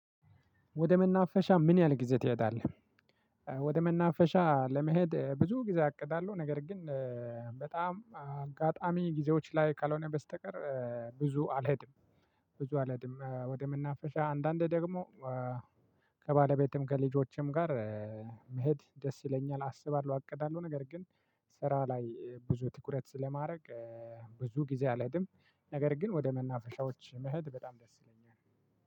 ወደ መናፈሻ ምን ያህል ጊዜ ትሄዳለህ? ወደ መናፈሻ ለመሄድ ብዙ ጊዜ አቅዳለሁ። ነገር ግን በጣም አጋጣሚ ጊዜዎች ላይ ካልሆነ በስተቀር ብዙ አልሄድም። ብዙ አልሄድም። ወደ መናፍሻ አንዳንዴ ደግሞ ከባለቤቴም ከልጆቼም ጋር መሄድ ደስ ይለኛል። አስባለሁ። አቅዳለሁ። ነገር ግን ስራ ላይ ብዙ ትኩረት ስለማደርግ ብዙ ጊዜ አልሄድም። ነገር ግን ወደ መናፈሻዎች መሄድ በጣም ደስ ይለኛል።